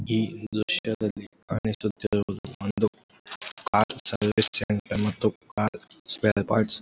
ಈ ದೃಶ್ಯದಲ್ಲಿ ಕಾಣಿಸುತ್ತಿರುವುದು ಒಂದು ಕಾರ್ ಸರ್ವಿಸ್ ಸೆಂಟರ್ ಮತ್ತು ಕಾರ್ ಸ್ಪೇರ್ ಪಾರ್ಟ್ಸ್ --